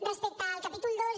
respecte al capítol ii